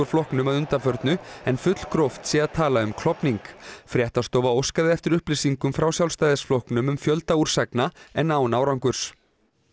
flokknum að undanförnu en fullgróft sé að tala um klofning fréttastofa óskaði eftir upplýsingum frá Sjálfstæðisflokknum um fjölda úrsagna en án árangurs